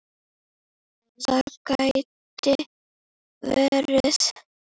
Það gæti verið